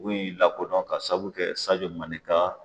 Dugu in lakodɔn k'a saabu kɛ sajo mane ka